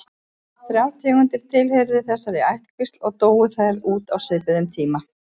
Þrjár tegundir tilheyrðu þessari ættkvísl og dóu þær út á svipuðum tíma.